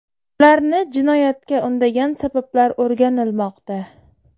Ularni jinoyatga undagan sabablar o‘rganilmoqda.